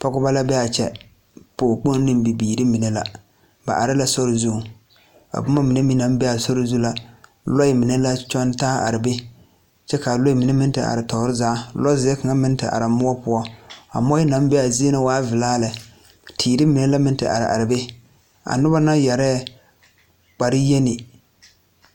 Pɔgebɔ la bee aa kyɛ pɔɔ kpoŋ neŋ bibiire mine la ba are la sori zuŋ a bomma mine meŋ na bee a sori zu la lɔɛ mine la kyɔŋ taa a are be kyɛ kaa lɔɛ mine meŋ te are toore zaa lɔ zeɛ kaŋa meŋ te are moɔ poɔ a moɔɛ naŋ bee zie na waa vilaa lɛ teere mine la meŋ te are are be a nobɔ yɛrɛɛ kpare yeni.